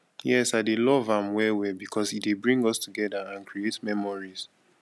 yes i dey love am well well because e dey bring us together and create memories